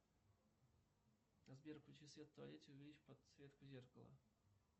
сбер включи свет в туалете увеличь подсветку зеркала